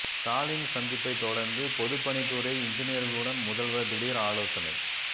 ஸ்டாலின் சந்திப்பை தொடர்ந்து பொதுப்பணித்துறை இன்ஜினியர்களுடன் முதல்வர் திடீர் ஆலோசனை